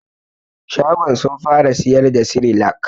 Shagon sun fara siyar da sirilak